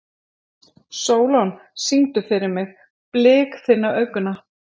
Sólon, syngdu fyrir mig „Blik þinna augna“.